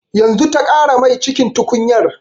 Yanzu ta ƙara mai cikin tukunyar